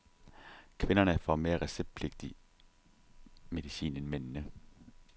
Kvinderne får mere receptpligtig medicin end mændene.